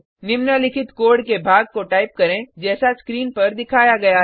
निम्नलिखित कोड के भाग को टाइप करें जैसा स्क्रीन पर दिखाया गया है